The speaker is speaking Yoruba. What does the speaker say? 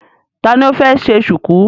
Ta ni ó fẹ́ ṣe ṣùkú?